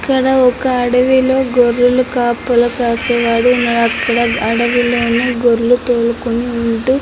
ఇక్కడ ఒక అడవిలో గొర్రెలు కాపుల కాసేవాడు ఉన్నాడు అక్కడ అడవిలోని గొర్రెలు తోలుకొని ఉంటూ --